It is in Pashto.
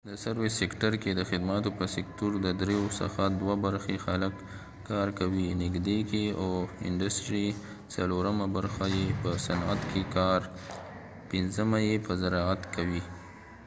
د خدماتو په سکتور service sector کې ددرېو څخه دوه برخی خلک کار کوي نږدې څلورمه برخه یې په صنعت industry کې او پنځمه یې په زراعت agricultureکې کار کوي